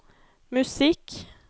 musikk